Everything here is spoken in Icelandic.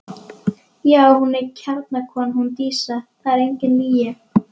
Já, hún er kjarnakona hún Dísa, það er engin lygi.